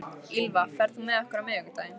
Ýlfa, ferð þú með okkur á miðvikudaginn?